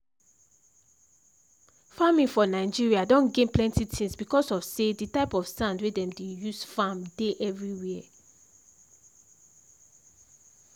farming for nigeria don gain plenty things because of say the type of sand wey dem dey use farm dey everywhere.